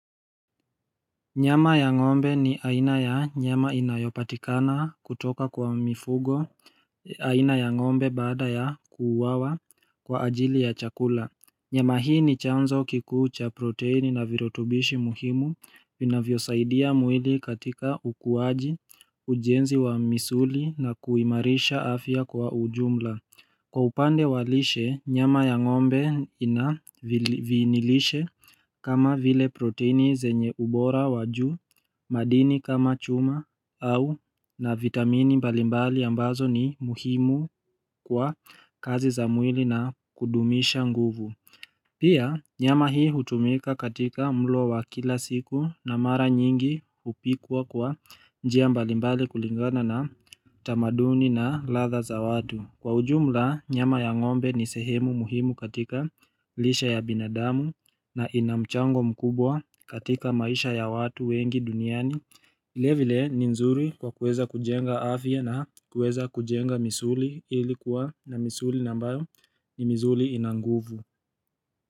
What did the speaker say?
Nyama ya ng'ombe, ni aina ya nyama inayopatikana kutoka kwa mifugo. Aina ya ng'ombe baada ya kuuawa kwa ajili ya chakula. Nyama hii ni chanzo kikuu cha proteini na virotubishi muhimu vinavyosaidia mwili katika hukuaji, ujenzi wa misuli na kuimarisha afya kwa ujumla Kwa upande wa lishe nyama ya ngombe ina viini lishe kama vile proteini zenye ubora wa juu, madini kama chuma au na vitamini mbalimbali ambazo ni muhimu kwa kazi za mwili na kudumisha nguvu Pia nyama hii hutumika katika mlo wa kila siku na mara nyingi upikwa kwa njia mbalimbali kulingana na tamaduni na ladha za watu. Kwa ujumla, nyama ya ngombe ni sehemu muhimu katika lishe ya binadamu na ina mchango mkubwa katika maisha ya watu wengi duniani vile vile ni nzuri kwa kuweza kujenga afya na kuweza kujenga misuli ili kuwa na misuli ambayo ni misuli ina nguvu.